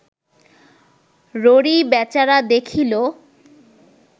ররী বেচারা দেখিল